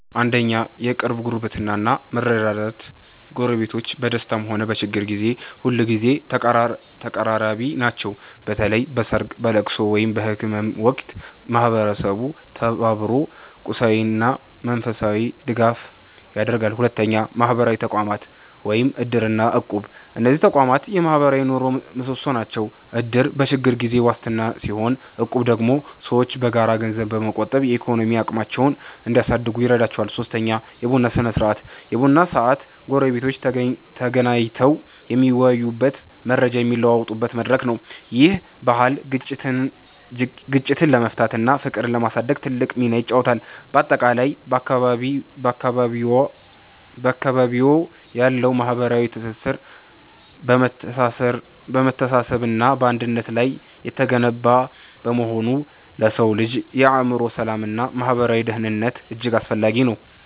1. የቅርብ ጉርብትና እና መረዳዳት ጎረቤቶች በደስታም ሆነ በችግር ጊዜ ሁልጊዜ ተቀራራቢ ናቸው። በተለይ በሰርግ፣ በልቅሶ ወይም በህመም ወቅት ማህበረሰቡ ተባብሮ ቁሳዊና መንፈሳዊ ድጋፍ ያደርጋል። 2. ማህበራዊ ተቋማት (እድር እና እቁብ) እነዚህ ተቋማት የማህበራዊ ኑሮው ምሰሶዎች ናቸው። እድር በችግር ጊዜ ዋስትና ሲሆን፣ እቁብ ደግሞ ሰዎች በጋራ ገንዘብ በመቆጠብ የኢኮኖሚ አቅማቸውን እንዲያሳድጉ ይረዳቸዋል። 3. የቡና ስነ-ስርዓት የቡና ሰዓት ጎረቤቶች ተገናኝተው የሚወያዩበትና መረጃ የሚለዋወጡበት መድረክ ነው። ይህ ባህል ግጭቶችን ለመፍታትና ፍቅርን ለማሳደግ ትልቅ ሚና ይጫወታል። ባጠቃላይ፣ በአካባቢዎ ያለው ማህበራዊ ትስስር በመተሳሰብና በአንድነት ላይ የተገነባ በመሆኑ ለሰው ልጅ የአእምሮ ሰላምና ማህበራዊ ደህንነት እጅግ አስፈላጊ ነው።